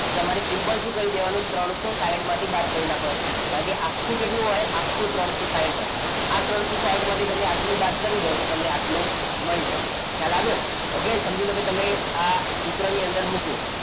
તમારે સિમ્પલ શું કરી દેવાનું ત્રણસો સાઈઠ માંથી બાદ કરી નાખવાનું કારણ કે આખું કેટલું હોય આખો ત્રણસો સાઈઠ હોય આ ત્રણસો સાઈઠ માંથી તમે આટલો બાદ કરી દો તો તમને આટલો મળી જાય ખ્યાલ આવ્યો કે સમજી લો કે તમે સૂત્રની અંદર મૂક્યું.